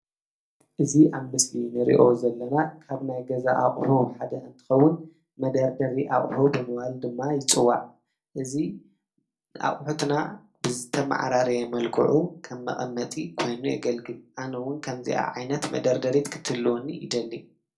እዚ አብ ምስሊ እንሪኦ ዘለና ካብ ናይ ገዛ አቁሑ ሓደ እንትኸውን መደርደሪ አቁሑ ብምባል ድማ ይፅዋዕ። እዚ አቁሑትና ብዝተመዓራረየ መልክዑ ከም መቀመጢ ኮይኑ የገልግል። አነ እውን ከምዚአ ዓይነት መደርደሪት ክትህልወኒ ይደሊ።